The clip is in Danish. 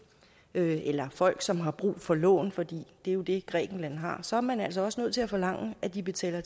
nød eller folk som har brug for lån for det er jo det grækenland har så er man altså også nødt til at forlange at de betaler